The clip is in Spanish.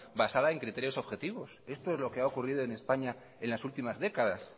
basada en criterios objetivos esto es lo que ha ocurrido en españa en las últimas décadas